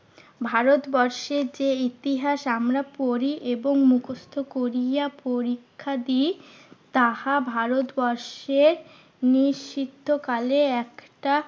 ভারতবর্ষের যে ইতিহাস আমরা পড়ি এবং মুখস্ত করিয়া পরীক্ষা দিই তাহা ভারতবর্ষের নিশ্চিত্ত কালে একটা